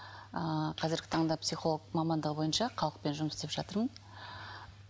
ыыы қазіргі таңда психолог мамандығы бойынша халықпен жұмыс істеп жатырмын